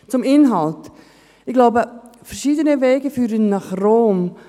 Zum Inhalt: Ich glaube, verschiedene Wege führen nach Rom.